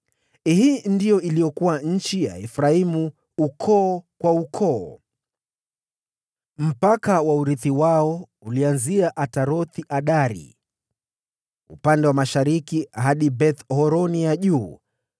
Hili ndilo lilikuwa eneo la Efraimu, ukoo kwa ukoo: Mpaka wa urithi wao ulianzia Ataroth-Adari upande wa mashariki hadi Beth-Horoni ya Juu,